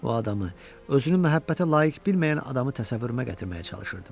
O adamı, özünü məhəbbətə layiq bilməyən adamı təsəvvürümə gətirməyə çalışırdım.